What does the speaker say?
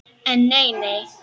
En nei nei.